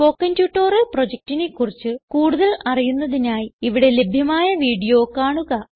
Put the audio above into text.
spoken tutorial പ്രൊജക്റ്റിനെ കുറിച്ച് കൂടുതൽ അറിയുന്നതിനായി ഇവിടെ ലഭ്യമായ വീഡിയോ കാണുക